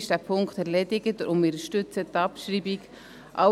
Dieser Punkt ist erledigt, und wir unterstützen die Abschreibung.